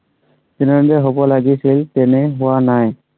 যেনেদৰে হ'ব লাগিছিল তেনে হোৱা নাই।